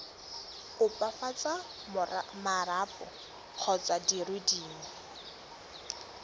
opafatsa marapo kgotsa dire dingwe